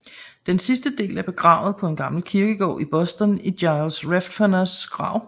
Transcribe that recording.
Den sidste del er begravet på en gammel kirkegård i Boston i Giles Redfernes grav